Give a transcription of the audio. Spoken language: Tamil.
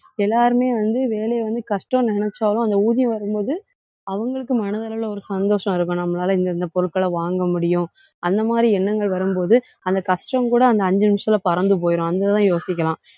எல்லாருமே வந்து, வேலையை வந்து கஷ்டம்னு நினைச்சாலும் அந்த ஊதியம் வரும்போது அவங்களுக்கு மனதளவுல ஒரு சந்தோஷம் இருக்கும். நம்மளால இந்த இந்த பொருட்கள வாங்க முடியும். அந்த மாதிரி எண்ணங்கள் வரும்போது அந்த கஷ்டம் கூட அந்த அஞ்சு நிமிஷத்துல பறந்து போயிரும். அந்த இதுலாம் யோசிக்கலாம்.